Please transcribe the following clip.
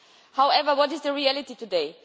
However, what is the reality today?